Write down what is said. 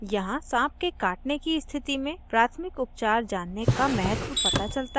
यहाँ साँप के काटने की स्थिति में प्राथमिक उपचार जानने का महत्व पता चलता है